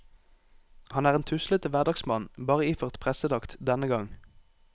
Han er en tuslete hverdagsmann, bare iført prestedrakt denne gang.